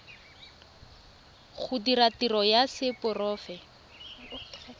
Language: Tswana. go dira tiro ya seporofe